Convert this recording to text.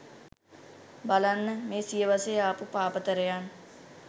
බලන්න මේ සියවසේ ආපු පාපතරයන්